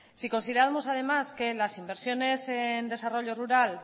si consideramos además que en las inversiones en desarrollo rural